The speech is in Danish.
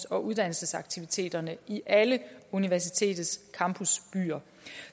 og uddannelsesaktiviteterne i alle universitetets campusbyer